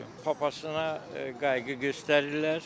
Papasna qayğı göstərirlər.